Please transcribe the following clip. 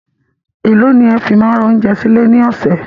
Èló ni ẹ fi máa ń ra oúnjẹ sí ilé ní ọ̀sẹ̀?